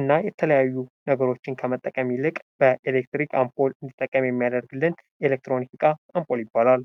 እና የተለያዩ ነገሮችን ከመጠቀም ይልቅ በኤሌክትሪክ አምፖል እንዲጠቀም የሚያደርግልን ኤሌክትሮኒክ እቃ አፖል ይባላል።